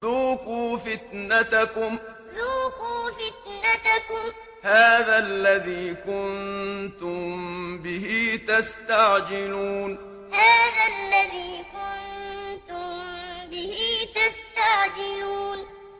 ذُوقُوا فِتْنَتَكُمْ هَٰذَا الَّذِي كُنتُم بِهِ تَسْتَعْجِلُونَ ذُوقُوا فِتْنَتَكُمْ هَٰذَا الَّذِي كُنتُم بِهِ تَسْتَعْجِلُونَ